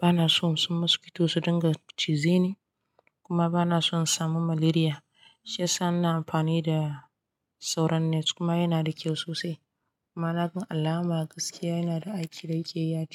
Bana so mosquito su dinga cize ni kuma bana so in samu malaria. Shiyasa ina amfani da soron net kuma yana da kyau sosai. Kuma na gan alama gaskiya yana da aiki da yake yi a jiki.